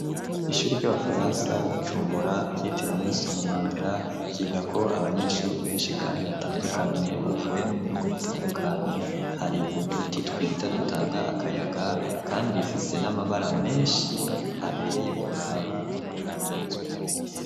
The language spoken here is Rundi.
Kw'ishure ry'abafaransa ryi Bujumbura ryitiriwe nelson mandela yigako abanyeshure benshi kandi batandukanye bavuye no mu bihugu bitandukanye, hari uduti twiza dutanga akayaga kandi rifise n'amabara menshi abereye kuraba no kuipfuzwa.